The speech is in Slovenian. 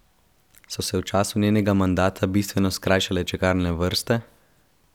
So se v času njenega mandata bistveno skrajšale čakalne vrste?